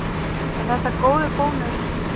Er þetta góður bónus?